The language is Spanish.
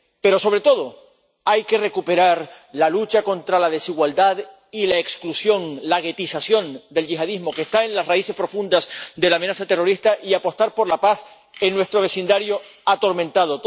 Pero, sobre todo, hay que recuperar la lucha contra la desigualdad y la exclusión, la guetización del yihadismo, que está en las raíces profundas de la amenaza terrorista, y apostar por la paz en nuestro vecindario atormentado.